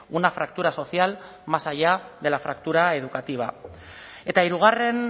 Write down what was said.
una fractura social más allá de la fractura educativa eta hirugarren